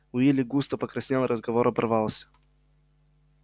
уилли густо покраснел и разговор оборвался